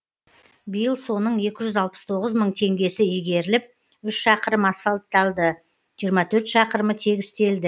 биыл соның екі жүз алпыс тоғыз мың теңгесі игеріліп үш шақырым асфальтталды жиырма төрт шақырымы тегістелді